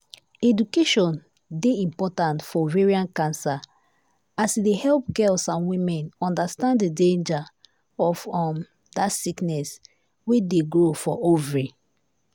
education dey important for ovarian cancer as e dey help girls and women understand the danger of um that sickness wey dey grow for ovary.